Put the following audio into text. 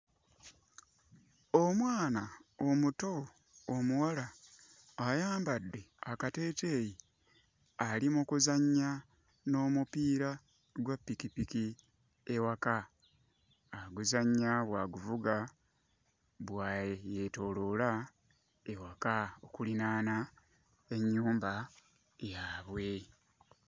Omwana omuto omuwala ayambadde akateeteeyi ali mu kuzannya n'omupiira gwa ppikipiki ewaka. Aguzannya bw'aguvuga bwe yeetooloola ewaka okulinaana ennyumba yaabwe.